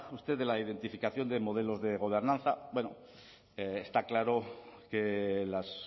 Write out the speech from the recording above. usted de la identificación de modelos de gobernanza está claro que las